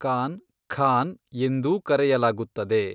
ಕಾನ್ , ಖಾನ್ ಎಂದೂ ಕರೆಯಲಾಗುತ್ತದೆ